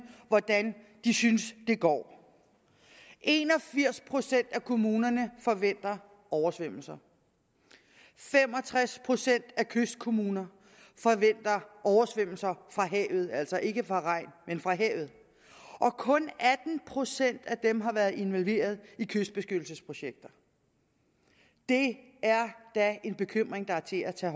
hvordan de synes det går en og firs procent af kommunerne forventer oversvømmelser fem og tres procent af kystkommunerne forventer oversvømmelser fra havet altså ikke fra regn men fra havet og kun atten procent af dem har været involveret i kystbeskyttelsesprojekter det er da en bekymring der er til at tage